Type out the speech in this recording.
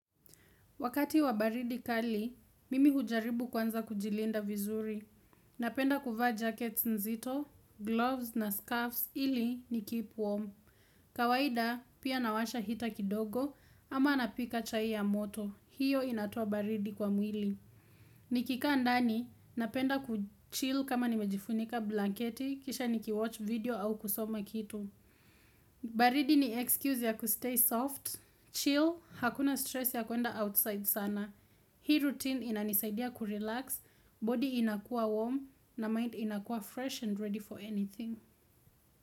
Wakati wa baridi kali, mimi hujaribu kwanza kujilinda vizuri. Napenda kuvaa jackets nzito, gloves na scarfs ili nikeep warm. Kawaida, pia nawasha heater kidogo ama napika chai ya moto. Hiyo inatoa baridi kwa mwili. Nikikaa ndani, napenda kuchill kama nimejifunika blanketi, kisha nikiwatch video au kusoma kitu. Baridi ni excuse ya kustay soft. Chill, hakuna stress ya kuenda outside sana. Hii routine inanisaidia kurelax, body inakua warm na mind inakua fresh and ready for anything.